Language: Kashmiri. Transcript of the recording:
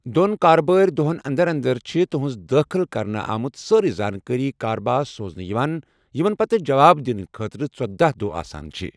دو٘ن كاربٲرِ دوہن اندر اندر چھِ تُہنز دٲخل كرنہٕ آمژ سٲریہ زانكٲری كارباس سوزنہٕ یوان ، یمن پتہٕ جواب دِنہٕ خٲطرٕ ژٔداہ دوہ آسان چھِ ۔